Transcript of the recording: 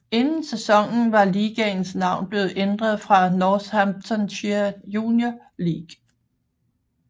Inden sæsonen var ligaens navn blev ændret fra Northamptonshire Junior League